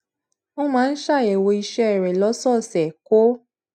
ó máa ń ṣàyèwò ìṣé rè lósòòsè kó